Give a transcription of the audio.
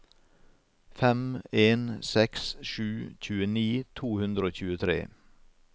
fem en seks sju tjueni to hundre og tjuetre